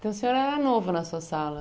Então, o senhor era era novo na sua sala.